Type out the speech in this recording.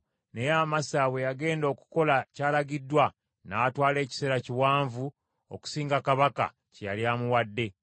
Naye Amasa bwe yagenda okukola ky’alagiddwa, n’atwala ekiseera kiwanvu okusinga kabaka kye yali amuwadde.